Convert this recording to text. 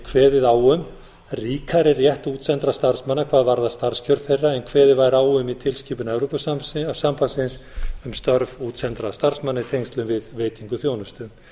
kveðið á um ríkari rétt útsendra starfsmanna hvað varðar starfskjör þeirra en kveðið væri á um í tilskipun evrópusambandsins um störf útsendra starfsmanna í tengslum við veitingu þjónustu